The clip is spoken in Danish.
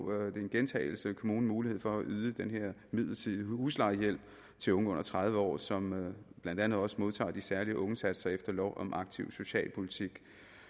kommunen mulighed for at yde den her midlertidige huslejehjælp til unge under tredive år som blandt andet også modtager de særlige ungesatser efter lov om aktiv socialpolitik